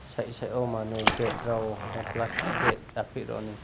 side side manui pet rayo plastic betjak rokni.